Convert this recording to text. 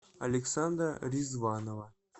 александра ризванова